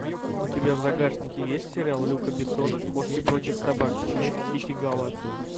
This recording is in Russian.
у тебя в загашнике есть сериал люка бессона кошки против собак месть китти галор